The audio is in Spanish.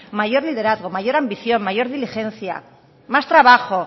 mayor liderazgo mayor ambición mayor diligencia más trabajo